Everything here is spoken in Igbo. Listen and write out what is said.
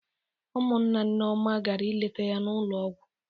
Ụmụnna Nneoma gara ileta ya n'ụlọ ọgwọ.